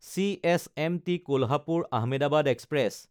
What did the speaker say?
CSMT Kolhapur Ahmedabad express